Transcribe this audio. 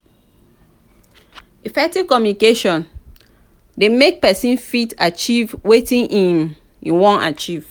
effective communication dey make persin fit achieve wetin im won achieve